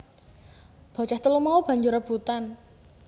Bocah telu mau banjur rebutan